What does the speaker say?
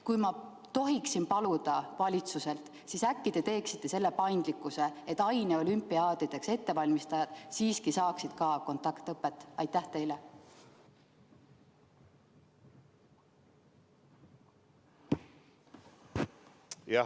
Kui ma tohin valitsust paluda, siis äkki te lubate sellist paindlikkust, et aineolümpiaadideks valmistujad siiski saaksid ka kontaktõpet?